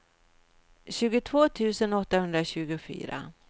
tjugotvå tusen åttahundratjugofyra